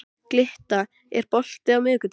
Glytta, er bolti á miðvikudaginn?